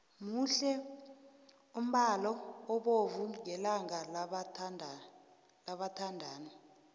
muhle umbalo obovu ngelanga labathandani